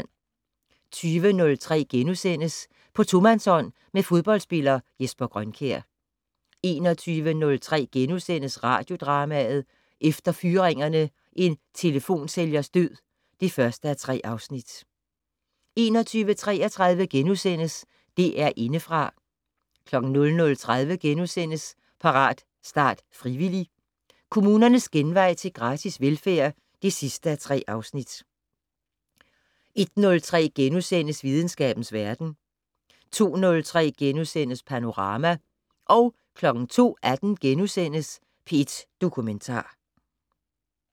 20:03: På tomandshånd med fodboldspiller Jesper Grønkjær * 21:03: Radiodrama: Efter fyringerne: En telefonsælgers død (1:3)* 21:33: DR Indefra * 00:30: Parat, start, frivillig! - Kommunernes genvej til gratis velfærd (3:3)* 01:03: Videnskabens Verden * 02:03: Panorama * 02:18: P1 Dokumentar *